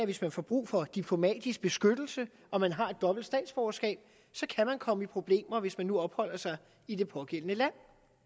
hvis man får brug for diplomatisk beskyttelse og man har et dobbelt statsborgerskab kan man komme i problemer hvis man nu opholder sig i det pågældende land